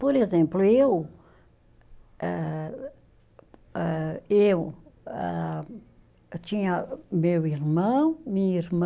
Por exemplo, eu ah, ah, eu, ah, eu tinha meu irmão, minha irmã,